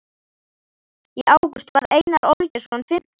Í ágúst varð Einar Olgeirsson fimmtugur.